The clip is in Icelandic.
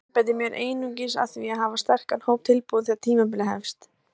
Ég einbeiti mér einungis að því að hafa sterkan hóp tilbúinn þegar tímabilið hefst.